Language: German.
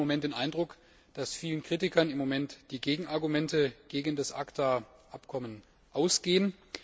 Ich habe im Moment den Eindruck, dass vielen Kritikern im Augenblick die Gegenargumente gegen das ACTA Abkommen ausgehen.